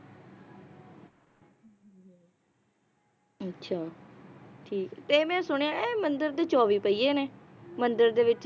ਅੱਛਾ ਠੀਕ ਤੇ ਮੈ ਸੁਣਿਆ ਇਹ ਮੰਦਿਰ ਦੇ ਚੌਵੀ ਪਹੀਏ ਨੇ, ਮੰਦਿਰ ਦੇ ਵਿਚ